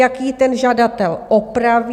Jak ji ten žadatel opraví?